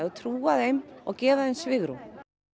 trúa þeim og gefa þeim svigrúm